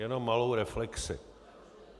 Jenom malou reflexi.